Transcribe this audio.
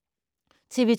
TV 2